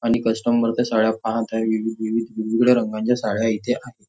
आणि कस्टमर त्या साड्या पाहत आहे विविध विविध वेगवेळ्या रंगांच्या साड्या इथे आहे.